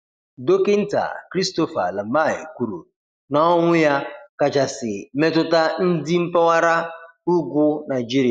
Dokịnta Christopher Lamai kwuru na-ọnwụ ya kachasi metụta ndi mpaghara ụgwụ Naijịrịa